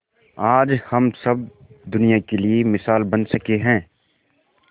आज हम सब दुनिया के लिए मिसाल बन सके है